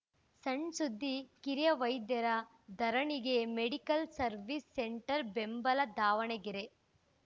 ಸಣ್‌ ಸುದ್ದಿ ಕಿರಿಯ ವೈದ್ಯರ ಧರಣಿಗೆ ಮೆಡಿಕಲ್‌ ಸವೀರ್ಸ್ ಸೆಂಟರ್‌ ಬೆಂಬಲ ದಾವಣಗೆರೆ